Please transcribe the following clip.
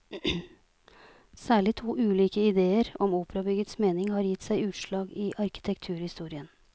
Særlig to ulike idéer om operabyggets mening har gitt seg utslag i arkitekturhistorien.